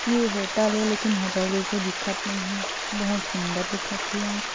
ये होटल ए लेकिन होटल जइसे दिखत नइ हे बहुत सुंदर दिखत हे एहा।